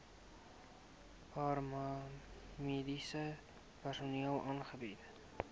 paramediese personeel aangebied